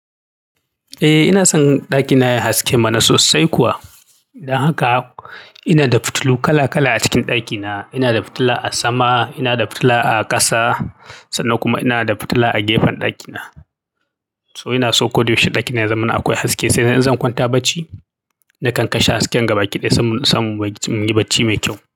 Eh, ina son ɗakina yayi haske mana sosai kuwa. Dan haka ina da fitilu kala kala a cikin ɗakina. Ina da fitila a sama, ina da fitila a ƙasa sannan kuma ina da fitila a gefen ɗakina. Toh ina so ko da yaushe ɗakina ya zama na akwai haske sai dai in zan kwanta barci, nakan kashe hasken gabaki ɗaya sai, sai mu yi barci mai kyau.